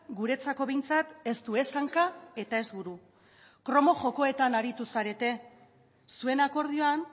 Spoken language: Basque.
guretzako behintzat ez du ez hanka eta ez buru kromo jokoetan aritu zarete zuen akordioan